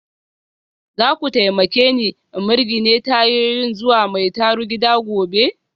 Za ku taimake ni in mirgine tayoyin zuwa mai tarugida gobe?